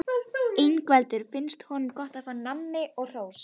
Ingveldur: Finnst honum gott að fá nammi og hrós?